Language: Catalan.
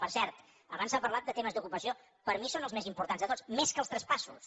per cert abans s’ha parlat de temes d’ocupació per mi són els més importants de tots més que els traspassos